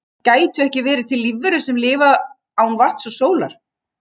gætu ekki verið til lífverur sem geta lifað án vatns og sólar